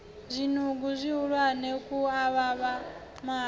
zwinungo zwihulwane khu avhavha mahaḓa